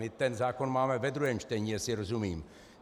My ten zákon máme ve druhém čtení, jestli rozumím.